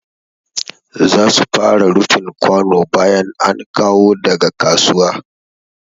Za su fara rufin kwano bayan an kawo daga kasuwa.